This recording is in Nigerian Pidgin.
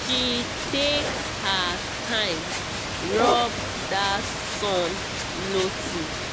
she take her time rub that sun loti